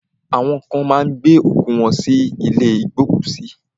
Awọn kan má ń gbé òkú wọ́n sí ilé ìgbókùsí.